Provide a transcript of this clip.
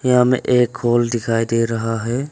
यहां हमें एक हॉल दिखाई दे रहा है।